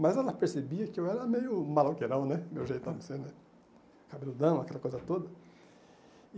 Mas ela percebia que eu era meio maloqueirão né, meu jeitão de ser né, cabeludão, aquela coisa toda.